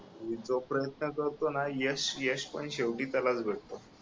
जो प्रयत्न करतो ना यश यश पण शेवटी त्यालाच भेटतं